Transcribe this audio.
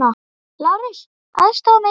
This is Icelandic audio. LÁRUS: Aðstoða mig!